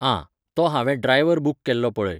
आं, तो हांवें ड्रायव्हर बूक केल्लो पळय.